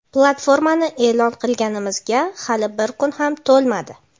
Platformani e’lon qilganimizga hali bir kun ham to‘lmadi.